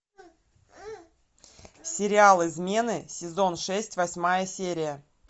сериал измены сезон шесть восьмая серия